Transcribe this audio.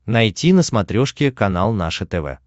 найти на смотрешке канал наше тв